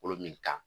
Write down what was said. Kolo min ka